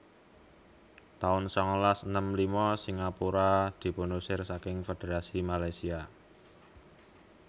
taun sangalas enem lima Singapura dipunusir saking Fédherasi Malaysia